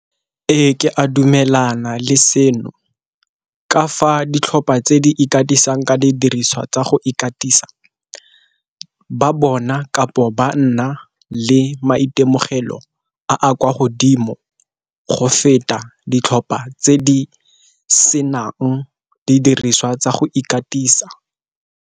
Ee, ke a dumelana le seno ka fa ditlhopha tse di ikatisang ka didiriswa tsa go ikatisa ba bona, kapo banna a le maitemogelo a a kwa godimo go feta ditlhopha tse di senang didiriswa tsa go ikatisa.